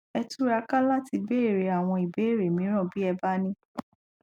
ẹ túra ká láti béèrè àwọn ìbéèrè mìíràn bí ẹ bá ní